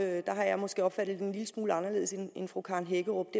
er der har jeg måske opfattet det en lille smule anderledes end fru karen hækkerup